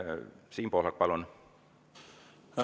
Siim Pohlak, palun!